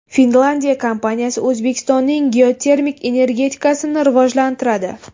Finlyandiya kompaniyasi O‘zbekistonning geotermik energetikasini rivojlantiradi.